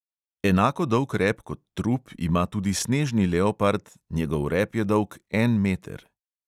Enako dolg rep kot trup ima tudi snežni leopard njegov rep je dolg en meter.